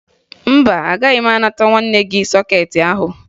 Mba, agaghị m anata nwanne gị sọkeetị ahụ